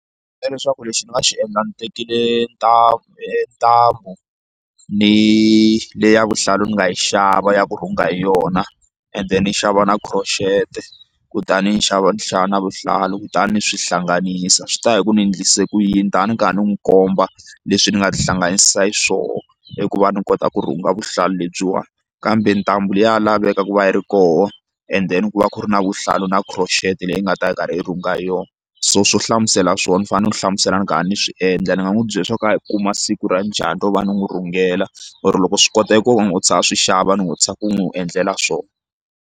Leswaku lexi ni nga xi endla ndzi tekile ntambu ntambu ni le ya vuhlalu ndzi nga yi xava ya ku rhunga hi yona ende ni yi xava na crochet kutani ndzi xava ni xava na vuhlalu kutani ni swi hlanganisa swi ta hi ku ni endlise ku yini ni ta ni karhi ni n'wi komba leswi ni nga tihlanganisa hi swona i ku va ni kota ku ri u nga vuhlalu lebyiwani kambe ntambu leyi ya laveka ku va yi ri koho and then ku va ku ri na vuhlalu na crotchet leyi nga ta yi karhi yi rhunga hi yona so swo hlamusela swona u fanele u hlamusela ni kha ni swi endla ni nga n'wi byela swo karhi u kuma siku ra njhani ro va ni n'wi rhungela or loko swi kota ku ve ni u tshama a swi xava ni n'wi u tshama u n'wi u endlela swona.